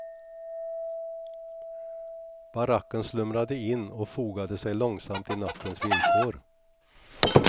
Baracken slumrade in och fogade sig långsamt i nattens villkor.